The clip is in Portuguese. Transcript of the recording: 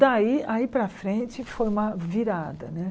Daí, aí para frente, foi uma virada, né?